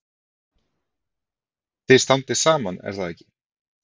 Þið standið saman er það ekki?